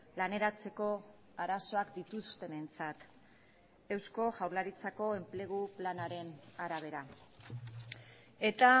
laneratzeko arazoak dituztenentzat eusko jaurlaritzako enplegu planaren arabera eta